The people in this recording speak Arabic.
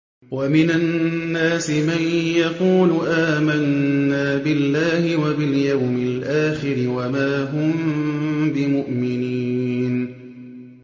وَمِنَ النَّاسِ مَن يَقُولُ آمَنَّا بِاللَّهِ وَبِالْيَوْمِ الْآخِرِ وَمَا هُم بِمُؤْمِنِينَ